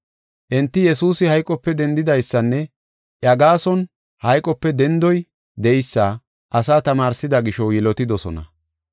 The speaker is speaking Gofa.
Enti Yesuusi hayqope dendoysanne iya gaason hayqope dendoy de7eysa asaa tamaarsida gisho yilotidosona.